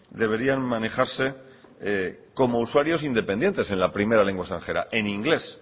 deberían manejarse como usuarios independientes en la primera lengua extranjera en inglés